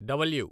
W